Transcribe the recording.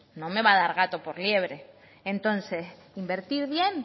no me va a dar gato por liebre entonces invertir bien